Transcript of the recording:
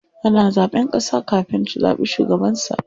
Ana zaɓen ƙasa kafin a zaɓi shugabansa.